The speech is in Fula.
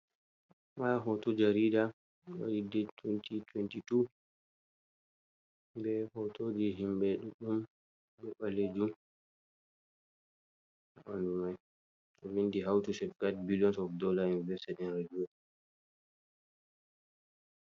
Nda hoto jarida waɗi det tiwenti tiwentitu ɓe hotoji himɓe ɗuɗɗum be ɓalejum ndumai o vindi hauti ce4 billion o dollar n becaen reiwe